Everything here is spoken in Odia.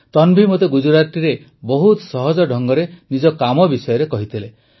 ତନଭି ମୋତେ ଗୁଜରାଟିରେ ବହୁତ ସହଜ ଢଙ୍ଗରେ ନିଜ କାମ ବିଷୟରେ କହିଥିଲେ